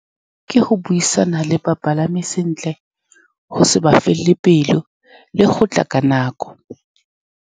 Ke go buisana le bapalami sentle, go se ba felele pelo, le go tla ka nako.